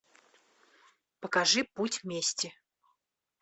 покажи путь мести